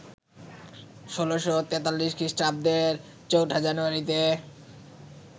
১৬৪৩ খ্রিস্টাব্দের ৪ঠা জানুয়ারিতে